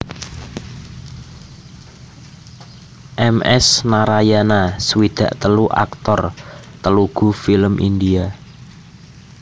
M S Narayana swidak telu aktor Telugu film India